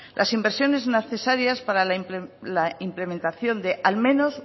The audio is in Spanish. las inversiones necesarias para la implementación de al menos